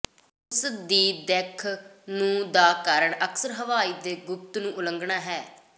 ਉਸ ਦੀ ਦਿੱਖ ਨੂੰ ਦਾ ਕਾਰਨ ਅਕਸਰ ਹਵਾਈ ਦੇ ਗੁਪਤ ਦੀ ਉਲੰਘਣਾ ਹੈ